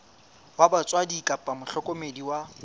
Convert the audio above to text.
wa batswadi kapa mohlokomedi wa